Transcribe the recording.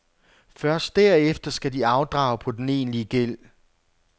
Først derefter skal de afdrage på den egentlige gæld.